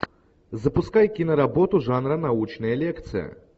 запускай киноработу жанра научная лекция